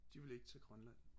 de ville ikke til Grønland